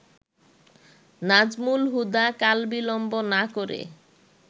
নাজমুল হুদা কালবিলম্ব না করে